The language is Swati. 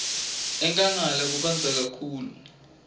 enkhangala kubandza kakhulu